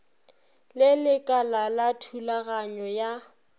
le lekala la thulaganyo ya